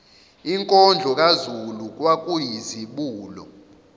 inkondlo kazulu kwakuyizibulo